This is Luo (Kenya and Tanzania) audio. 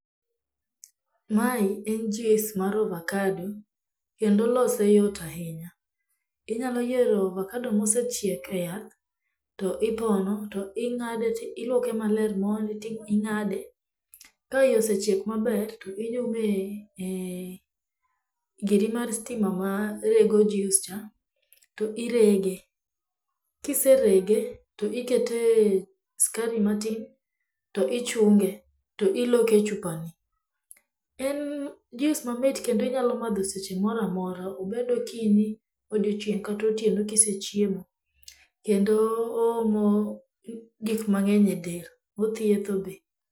Mae en jus mar ovakado kendo lose yot ahinya. Inyalo yiero avokado mosechiek e yath to ipono, to ing'ade to iluoke maler mondi to ing'ade , ka iye osechiek maber, to inyume e giri mar stima marego jus cha to irege. Ka iserege to ikete skari matin to ichunge to iloke e chupani. En jus mamit kendo inyalo madho seche moro amora obed okinyi, odiechieng' kata otieno kisechiemo. Oomo gik mang'eny edel. Othietho be.